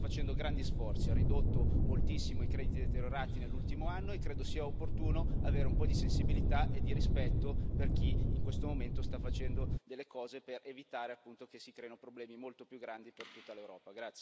L'Italia sta facendo grandi sforzi ha ridotto moltissimo i crediti deteriorati nell'ultimo anno e credo sia opportuno avere un po' di sensibilità e di rispetto per chi in questo momento sta facendo delle cose per evitare, appunto, che si creino problemi molto più grandi per tutta l'Europa.